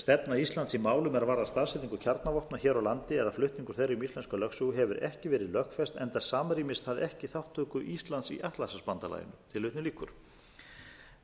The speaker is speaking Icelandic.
stefna íslands í málum er varða staðsetningu kjarnavopna hér á landi eða flutning þeirra um íslenska lögsögu hefur ekki verið lögfest enda samræmist það ekki þátttöku íslands í atlantshafsbandalaginu